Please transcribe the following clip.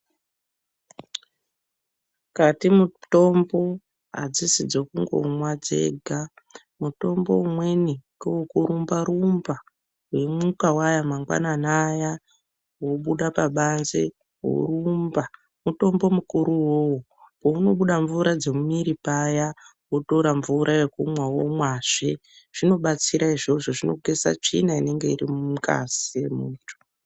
Mukati mitombo adzisi dzekungomwa dzega. Mutombo umweni ngewekurumba rumba weimuka waya mangwanani aya wobuda pabanze worumba mutombo mukuru uwowo. Paunobuda mvura dzemumumiri paya wotora mvura yokumwa womwazve zvinobatsira izvozvo zvinogeza tsvina inenge iri mungazi mwemuntu.